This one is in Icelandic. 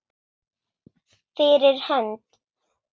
Fyrir hönd.